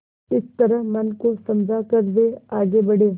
इस तरह मन को समझा कर वे आगे बढ़े